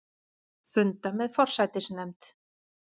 Funda með forsætisnefnd